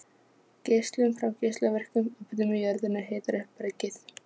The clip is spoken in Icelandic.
Geislun frá geislavirkum efnum í jörðunni hitar upp bergið.